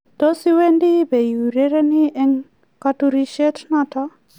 Tos iwendi pi urereni eng' katurishet notok